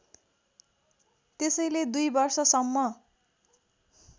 त्यसैले दुई वर्षसम्म